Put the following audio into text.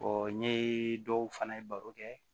n ye dɔw fana ye baro kɛ